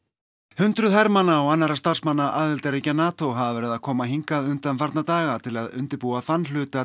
hundruð hermanna og annarra starfmanna aðildarríkja NATO hafa verið að koma hingað undanfarna daga til að undirbúa þann hluta